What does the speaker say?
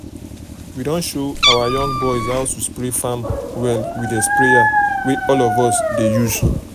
we don show our young boys how to spray farm well with the sprayer wey all of us dey use